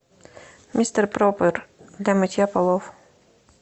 мистер пропер для мытья полов